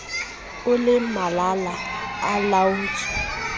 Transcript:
o le malala a laotswe